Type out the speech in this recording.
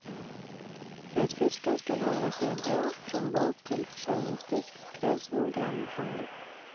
För att fisken skall hålla sig bra från båt till försäljningsdisk krävs noggrann behandling.